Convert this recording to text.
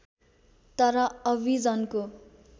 तर अभिजनको